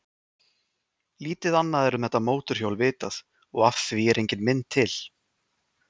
Lítið annað er um þetta mótorhjól vitað og af því er engin mynd til.